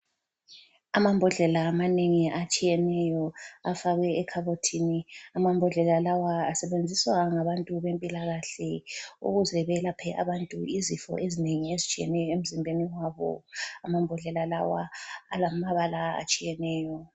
Amambodlela amanengi atshiyeneyo, afakwe ekhabothini. Amambodlela lawa, asebenziswa ngabantu bempilakahle ukuze belaphe abantu izifo ezinengi ezitshiyeneyo emzimbeni wabo. Amambodlela lawa alamabala atshiyeneyo.